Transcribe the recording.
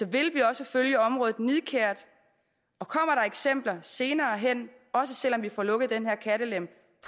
vil vi også følge området nidkært og kommer der eksempler senere hen også selv om vi får lukket den her kattelem